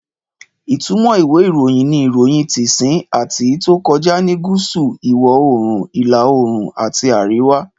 Ìtumọ̀ ìwé ìròyìn ni, Iroyin ti sìn àti ìtó tí kọjá ní gúúsù, iwo oòrùn, ìlà oòrùn àti àríwá.